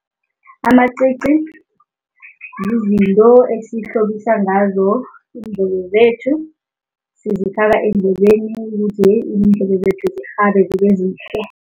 Amacici zizinto esihlobisa ngazo iindlebe zethu, sizifaka eendlebeni ukuthi iindlebe zethu zirhabe zibe zihle.